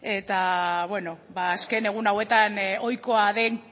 bueno azken egun hauetan ohikoa den